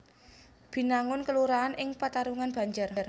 Binangun kelurahan ing Pataruman Banjar